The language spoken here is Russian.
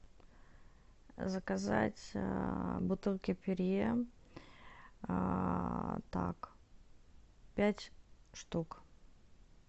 заказать бутылки перье пять штук